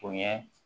O ye